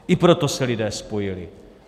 I proto se lidé spojili.